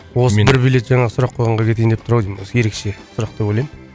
осы бір билет жаңағы сұрақ қойғанға кетейін деп тұр ау деймін осы ерекше сұрақ деп ойлаймын